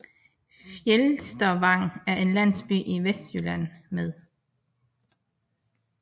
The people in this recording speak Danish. Fjelstervang er en landsby i Vestjylland med